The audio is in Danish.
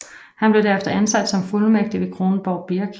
Han blev derefter ansat som fuldmægtig ved Kronborg Birk